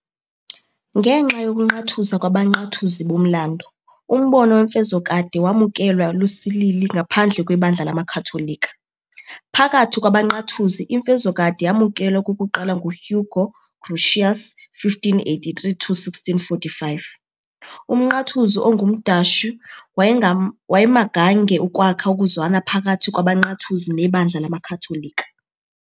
Ngenxa yokunqathuza kwabaNqathuzi bomlando, umbono wemfezokade wamukelwa lusilili ngaphandle kwebandla lamakhatholika. Phakathi kwabaNqathuzi, imfezokade yamukelwa okokuqala nguHugo Grotius, 1583-1645, umNqathuzi ongumDashi owayemagange ukwakha ukuzwana phakathi kwabaNqathuzi nebandla lamakhatholika.